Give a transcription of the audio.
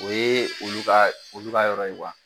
O ye olu ka olu ka yɔrɔ ye kuwa